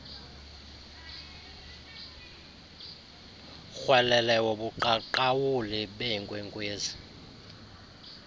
rhwelele wobuqaqawuli beenkwenkwezi